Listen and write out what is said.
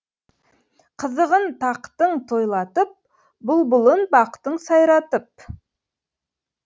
қызығын тақтың тойлатып бұлбұлын бақтың сайратып